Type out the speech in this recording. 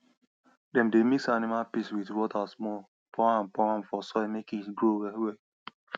dem dey mix animal piss with water small pour am pour am for soil make e grow wellwell